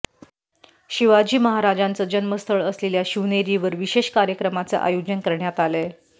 शिवाजी महाराजांचं जन्मस्थळ असलेल्या शिवनेरीवर विशेष कार्यक्रमाचं आयोजन करण्यात आलंय